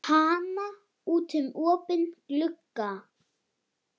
Kana út um opinn glugga.